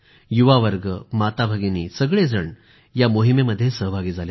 युवावर्ग माता भगिनी सगळेजण या मोहिमेमध्ये सहभागी झाले